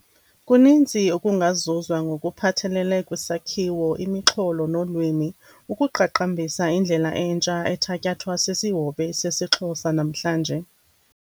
Kuninzi okungazuzwa ngokuphathelele kwisakhiwo, imixholo nolwimi, ukuqaqambisa indlela entsha ethatyathwa sisihobe sesiXhosa namhlanje.